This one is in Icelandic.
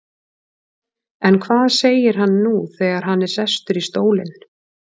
En hvað segir hann nú þegar hann er sestur í stólinn?